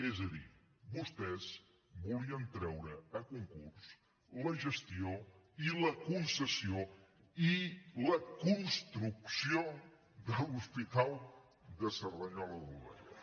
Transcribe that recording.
és a dir vostès volien treure a concurs la gestió i la concessió i la construcció de l’hospital de cerdanyola del vallès